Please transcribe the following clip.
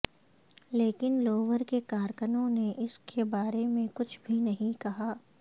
لیکن لوور کے کارکنوں نے اس کے بارے میں کچھ بھی نہیں کہا